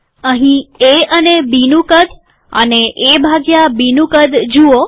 અહીં એ અને બીનું કદ અને એ ભાગ્યા બીનું કદ જુઓ